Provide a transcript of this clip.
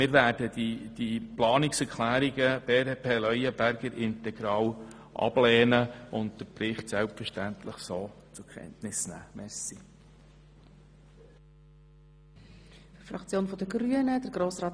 Wir werden die Planungserklärungen der BDP integral ablehnen und den Bericht so zur Kenntnis nehmen, wie er vorliegt.